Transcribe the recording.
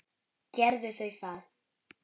Gerðu þau það.